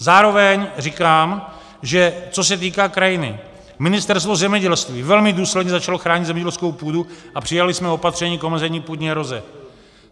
Zároveň říkám, že co se týká krajiny, Ministerstvo zemědělství velmi důsledně začalo chránit zemědělskou půdu a přijali jsme opatření k omezení půdní eroze.